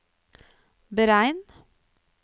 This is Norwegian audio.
beregn